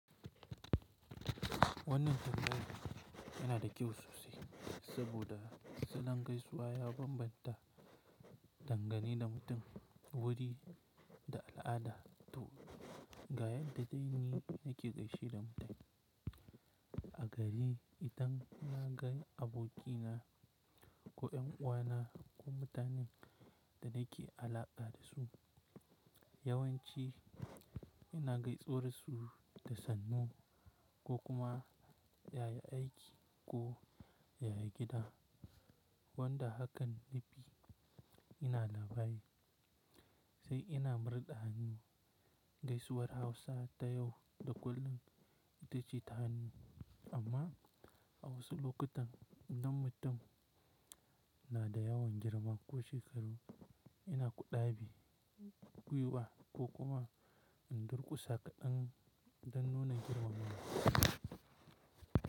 Wannan tambaya tana da kyau sosai, saboda salon gaisuwa ya bambanta dangane da mutum, wuri da al'ada. To, ga yadda dai ni nake gaishe da mutane. A gari, idan na ga abokina ko 'yan uwana ko mutanen da nake alaƙa da su, yawanci ina gaisar su da "sannu" ko kuma "yaya aiki?" ko "yaya gida?" Wanda hakan nafi ina labai, sai ina murɗa hannu. Gaisuwar Hausa ta yau da kullum ita ce ta hannu, amma a wasu lokutan idan mutum na da yawan girma ko shekaru, ina kuɗa bi, gwiwa ko kuma in durƙusa kaɗan don nuna girmama.